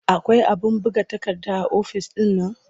Akwai abin buga takarda a ofis ɗin nan?